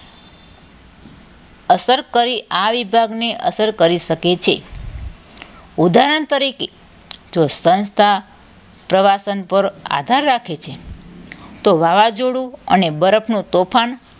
અસર કરી અને આ વિભાગને અસર કરી શકે છે ઉદાહરણ તરીકે જો સંસ્થા પ્રવાસન પર આધાર રાખે છે તો વાવાઝોડું અને બરફનું તોફાન